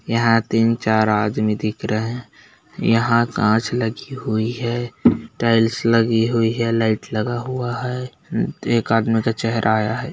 यहाँ तीन-चार आदमी दिख रहे हैं यहाँ कांच लगी हुई है टाइल्स लगी हुई है लाइट लगा हुआ है एक आदमी का चहेरा आया है।